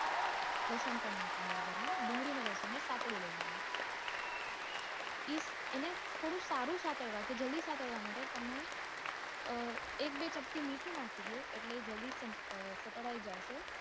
લસણ પણ નાખવાનું વગાર માં ડુંગળી અને લસણ ને સાતળી લેવાનું એને થોડું સારું સાતડવા થી જલ્દી સાંતળવા માટે તમે અ એક બેચપટી મીઠું નાખી દ્યો એટલે જલ્દી સાંતળાઈ આવશે.